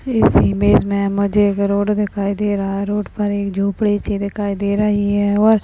इस इमेज मे मुझे एक रोड दिखाई दे रही है रोड पर एक झोपड़ी सी दिखाई दे रही है। और --